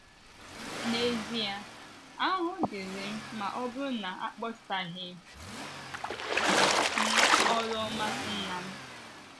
N’ezie, ahụhụ dịịrị m ma ọ bụrụ na akpọsaghị m oru ọma Nnam! ”